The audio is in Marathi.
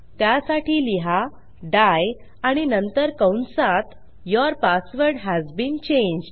त्यासाठी लिहा डाई आणि नंतर कंसात your password has been changed